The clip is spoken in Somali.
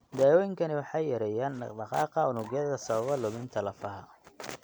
Daawooyinkani waxay yareeyaan dhaqdhaqaaqa unugyada sababa luminta lafaha.